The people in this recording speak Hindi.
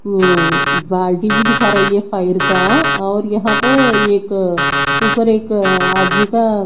उम्म बाल्टी भी दिखा रही है फायर का और यहां तो एक ऊपर एक आदमी का--